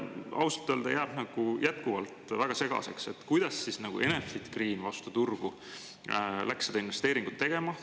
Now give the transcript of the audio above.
Ausalt öelda jääb jätkuvalt väga segaseks, kuidas nagu Enefit Green vastu turgu läks seda investeeringut tegema.